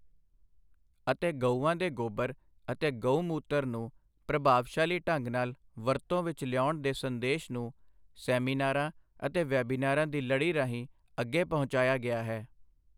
ਅਤੇ ਗਊਆਂ ਦੇ ਗੋਬਰ ਅਤੇ ਗਊ ਮੂਤਰ ਨੂੰ ਪ੍ਰਭਾਵਸ਼ਾਲੀ ਢੰਗ ਨਾਲ ਵਰਤੋਂ ਵਿਚ ਲਿਆਉਣ ਦੇ ਸੰਦੇਸ਼ ਨੂੰ ਸੈਮੀਨਾਰਾਂ ਅਤੇ ਵੈਬੀਨਾਰਾਂ ਦੀ ਲਡ਼ੀ ਰਾਹੀਂ ਅੱਗੇ ਪਹੁੰਚਾਇਆ ਗਿਆ ਹੈ।